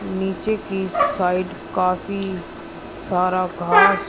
नीचे की साइड काफी सारा घास--